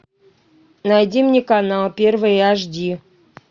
найди мне канал первый аш ди